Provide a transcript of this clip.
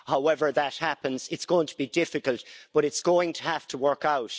However that happens, it's going to be difficult, but it's going to have to work out.